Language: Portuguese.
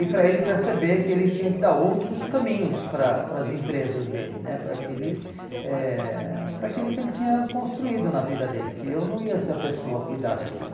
E para ele perceber que ele tinha que dar outros caminhos para a para as empresas dele né, para que ele eh para aquilo que ele tinha construído na vida dele, que eu não ia ser a pessoa a cuidar daquilo.